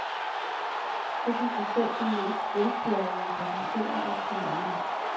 Det kan få selv de mest velbjærgede passagerer op på mærkerne.